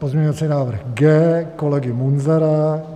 Pozměňovací návrh G kolegy Munzara.